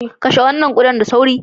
Kashe wannan kuda nan da nan